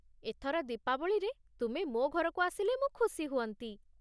ଏଥର ଦୀପାବଳିରେ ତୁମେ ମୋ ଘରକୁ ଆସିଲେ ମୁଁ ଖୁସି ହୁଅନ୍ତି ।